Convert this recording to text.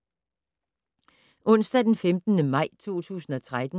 Onsdag d. 15. maj 2013